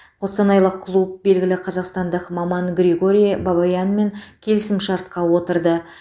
қостанайлық клуб белгілі қазақстандық маман григорий бабаянмен келісімшартқа отырды